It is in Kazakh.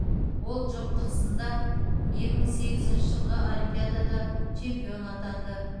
ол жұптық сында екі мың сегізінші жылғы олимпиадада чемпион атанды